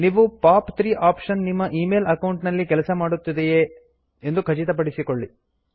ನೀವು POP 3 option ನಿಮ್ಮ email account ನಲ್ಲಿ ಕೆಲಸ ಮಾಡುತ್ತದೆಯೇ ಎಂದು ಖಚಿತಮಾಡಿಕೊಳ್ಳಿ